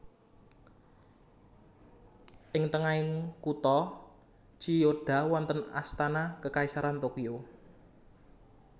Ing tengahing kutha Chiyoda wonten Astana Kekaisaran Tokyo